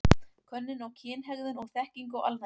Könnun á kynhegðun og þekkingu á alnæmi.